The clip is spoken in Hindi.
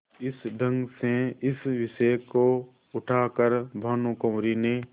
इस ढंग से इस विषय को उठा कर भानुकुँवरि ने